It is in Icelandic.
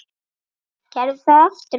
Gerðu það aftur pabbi!